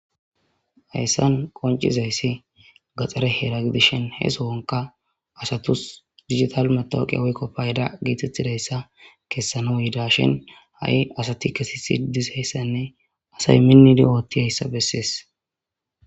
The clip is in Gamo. Hayssan qoncizayssi gaxxare heera gidishin he sowonka asatus digital matawuqiya woykko payda geetettidayssa kessano yida shin ha'i asati kesi sidisheyssanne asay minni di ootti ayssa bessies.